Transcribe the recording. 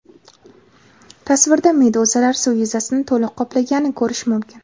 Tasvirda meduzalar suv yuzasini to‘liq qoplaganini ko‘rish mumkin.